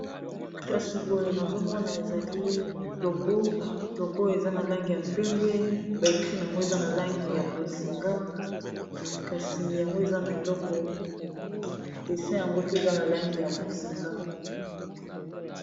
kasi boye nazomona ezali logo logo eza na langi ya pembe baekri yango eza na langi ya bozinga kasi yango eza na eloko desi yango pe eza na langi ya bozinga